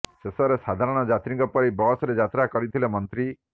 ଶେଷରେ ସାଧାରଣ ଯାତ୍ରୀଙ୍କ ପରି ବସରେ ଯାତ୍ରା କରିଥିଲେ ମନ୍ତ୍ରୀ